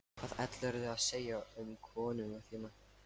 Hvað ætlaðirðu að segja um konuna þína?